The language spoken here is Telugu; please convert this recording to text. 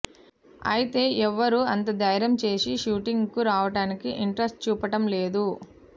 అయితే ఎవరూ అంత ధైర్యం చేసి షూటింగ్ కు రావటానికి ఇంట్రస్ట్ చూపటం లేదు